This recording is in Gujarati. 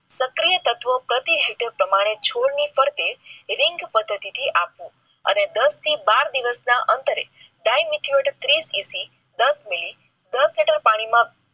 સક્રિય તત્વ પ્રતિ હેક્ટર પ્રમાણે ચોરની પડીકે રિંગ પદ્ધતિથી અને દસ થી બાર દિવસ ના અંતરે દસ મીલી દસ લિટર પાણીમાં